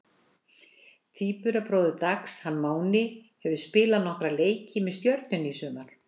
Tvíburabróðir Dags, hann Máni, hefur spilað nokkra leiki með Stjörnunni í sumar.